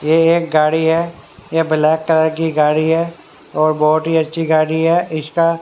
ये एक गाड़ी है ये ब्लैक कलर की गाड़ी है और बहोत ही अच्छी गाड़ी है इसका--